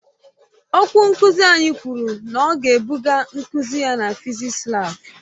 Okwu nkuzi anyị kwuru na ọ ga-ebuga nkuzi ya na fịzịksi laabu.